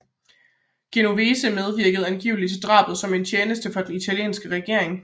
Genovese medvirkede angiveligt til drabet som en tjeneste for den italienske regering